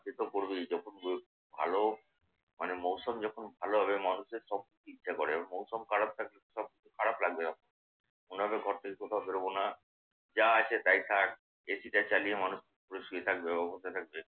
সেতো করবেই যখন ভালো মানে মৌসুম যখন ভালো হবে মানুষের সব ইচ্ছে করে আর মৌসুম খারাপ থাকলে সব খারাপ লাগবে। মনে হবে ঘর থেকে কোথাও বেরুব না। যা আছে তাই থাক। এসিটা চালিয়ে মানুষ শুয়ে থাকবে বা বসে থাকবে।